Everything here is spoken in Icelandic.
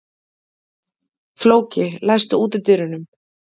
Flóki, læstu útidyrunum.